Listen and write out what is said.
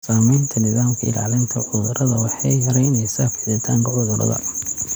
Samaynta nidaamka ilaalinta cudurada waxa ay yaraynaysaa fiditaanka cudurada.